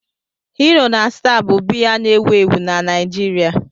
Hero na Star bụ biya na-ewu ewu na Nigeria.